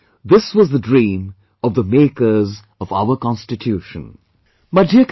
After all, this was the dream of the makers of our constitution